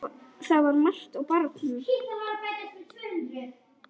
Það var margt á barnum.